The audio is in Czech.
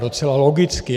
Docela logicky.